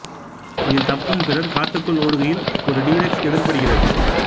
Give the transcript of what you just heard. இதில் தப்பும் பிறர் காட்டுக்குள் ஓடுகையில் ஒரு டி ரெக்ஸ் எதிர்ப்படுகிறது